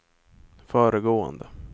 föregående